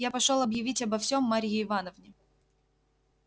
я пошёл объявить обо всем марье ивановне